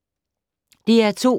DR2